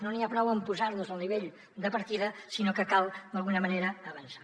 no n’hi ha prou amb posar nos al nivell de partida sinó que cal d’alguna manera avançar